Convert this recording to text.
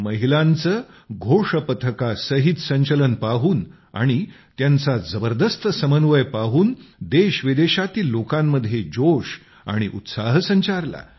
महिलांचे घोष पथकासहित संचलन पाहून आणि त्यांचा जबरदस्त समन्वय पाहून देशविदेशातील लोकांमध्ये जोश आणि उत्साह संचारला